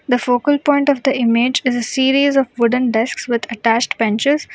The focal point of the image is a series of wooden desks with attached benches.